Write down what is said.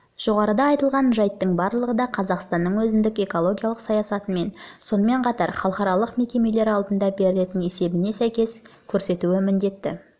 жоғарыда айтылған жайттың барлығы да қазақстанның өзіндік экологиялық саясатымен сонымен қатар халықаралық мекемелер алдында беретін есебіне сәйкес көрсетуі міндетті